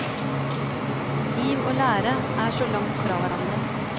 Liv og lære er så langt fra hverandre.